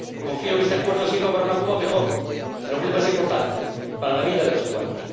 Confío en que este Acuerdo sirva para una Cuba mejor y, lo que es más importante, para la vida de los cubanos.